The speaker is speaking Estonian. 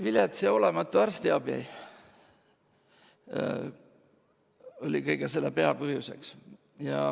Vilets ja olematu arstiabi oli kõige selle peapõhjus.